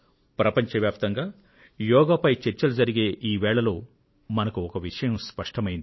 ప్రపంచ వ్యాప్తంగా యోగ చర్చలు జరిగే ఈ వేళలో మనకు ఒక విషయం స్పష్టమైంది